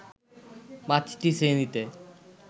পাঁচটি শ্রেণিতে